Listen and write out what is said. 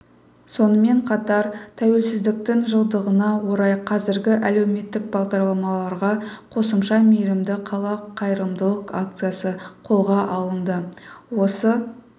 сонымен қатар тәуелсіздіктің жылдығына орай қазіргі әлеуметтік бағдарламаларға қосымша мейірімді қала қайырымдылық акциясы қолға алынды осы